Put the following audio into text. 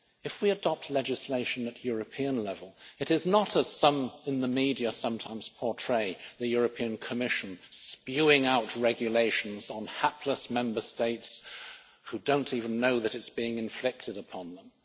If we adopt legislation at European level, it is not, as some in the media sometimes portray, the European Commission spewing out regulations on hapless Member States who don't even know that it's being inflicted upon them.